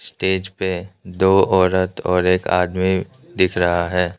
Stage पे दो औरत और दो आदमी दिख रहा है।